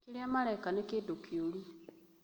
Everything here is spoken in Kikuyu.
Kĩrĩa mareka nĩ kĩũndũkĩũru